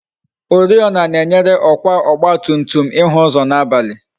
Oriọna na-enyere ọkwa ọgba tum tum ịhụ ụzọ n'abalị